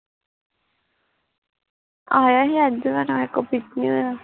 ਆਇਆ ਸੀ ਅੱਜ ਪਰ ਰਾਹੇ ਕੋਲੋਂ pick ਨੀ ਹੋਇਆ